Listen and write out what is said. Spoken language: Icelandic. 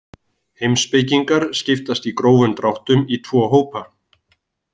Heimspekingar skiptast í grófum dráttum í tvo hópa.